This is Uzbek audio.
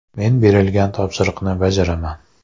Men berilgan topshiriqni bajaraman.